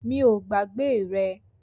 Mi o gbàgbé rẹ